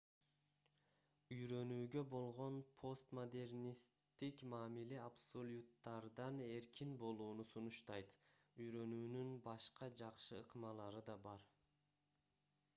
үйрөнүүгө болгон постмодернисттик мамиле абсолюттардан эркин болууну сунуштайт үйрөнүүнүн башка жакшы ыкмалары да бар